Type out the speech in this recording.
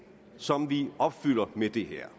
som vi opfylder med det her